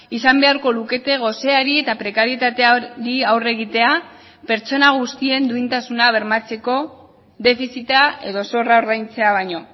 izan beharko lukete goseari eta prekarietateari aurre egitea pertsona guztien duintasuna bermatzeko defizita edo zorra ordaintzea baino